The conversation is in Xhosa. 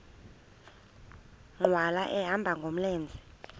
nkqwala ehamba ngamlenze